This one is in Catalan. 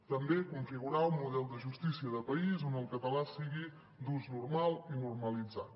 també configurar un model de justícia de país on el català sigui d’ús normal i normalitzat